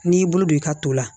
N'i y'i bolo don i ka to la